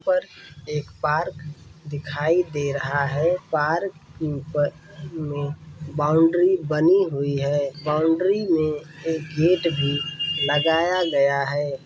यहां पर एक पार्क दिखाई दे रहा है पार्क में बाउंड्री बनी हुई हैं बाउंड्री मे एक गेट भी लगाया गया हैं।